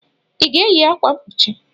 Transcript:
Ị ga-eyi akwa mkpuchi?